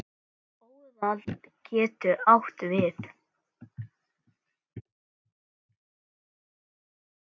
Óðal getur átt við